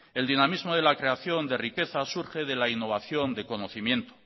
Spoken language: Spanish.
el dinamismo de la creación de riqueza surge de la innovación de conocimiento